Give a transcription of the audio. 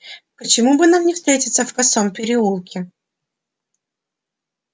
почему бы нам не встретиться в косом переулке